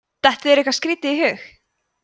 dettur þér eitthvað skrítið í hug